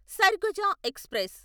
Surguja express